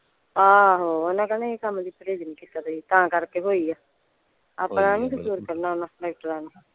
ਆਹੋ ਓਹਨਾਂ ਕਹਿਣਾ ਇਹ ਕੰਮ ਲਈ ਪ੍ਰਹੇਜ ਨਹੀਂ ਕੀਤਾ ਤੁਸੀਂ ਤਾਂ ਕਰਕੇ ਹੋਈ ਆ ਆਪਣਾ ਨਹੀਂ ਕਸੂਰ ਕੱਢਣ ਓਹਨਾਂ ਡਾਕਟਰਾਂ ਨੇ।